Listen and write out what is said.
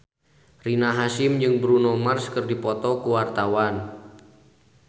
Rina Hasyim jeung Bruno Mars keur dipoto ku wartawan